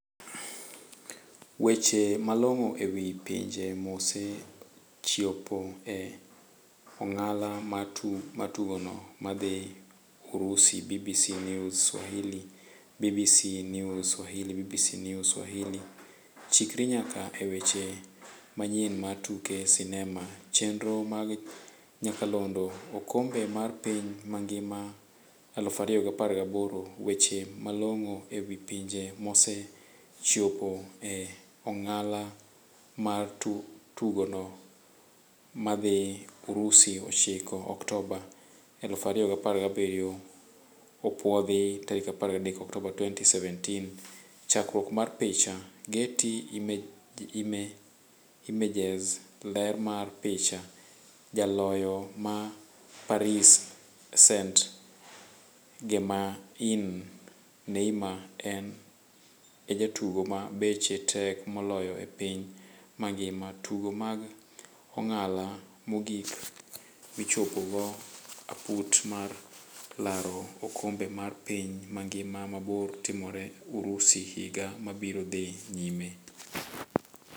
weche malong'o ewi pinje mose chiopo e ong'ala mar tugono madhi Urusi-BBC News swahili, BBC News Swahili BBC News, Swahili: Chikri nyaka e weche manyien mar tuke sinema chenro mag nyakalondo. Okombe mar piny mangima 2018.weche malong'o ewi pinje mose chiopo e ong'ala mar tugono madhi Urusi 9 Oktoba 2017 opuodhi 13 Oktoba 2017 chakruok mar picha, Getty Images. Ler mar picha, Jaloyo ma Paris St-Germain Neymar en e jatugo ma beche tek moloyo e piny mangima. Tugo mag ong'ala mogik michopo go aput mar laro okombe mar piny mangima mabiro timore Urusi higa mabiro dhi nyime.